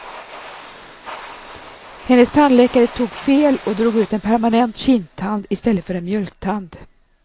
Hennes tandläkare tog fel och drog ut en permanent kindtand i stället för en mjölktand.